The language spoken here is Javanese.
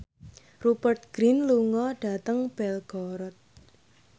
Rupert Grin lunga dhateng Belgorod